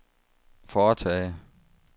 foretage